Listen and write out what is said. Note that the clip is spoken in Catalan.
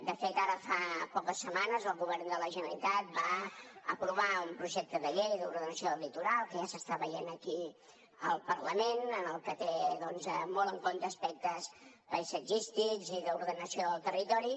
de fet ara fa poques setmanes el govern de la generalitat va aprovar un projecte de llei d’ordenació del litoral que ja s’està veient aquí al parlament en el que té molt en compte aspectes paisatgístics i d’ordenació del territori